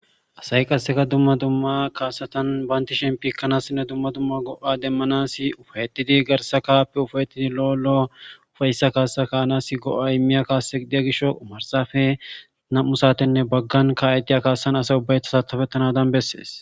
asayi qasseka dumma dumma kaasatan banti shempikkanassinne dumma dumma go7a demmanasi ufayetidi garsa kaappe ufayetii lo7olo ufayissa kaassa ka anas go7a imiya kaasseygidiya gisho qumarsafe nam7u saatenne baggan ka7ediya kaassan asay ubbayta satafettanadan bessees